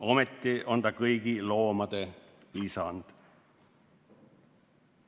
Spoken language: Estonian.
Ometi on ta kõigi loomade isand.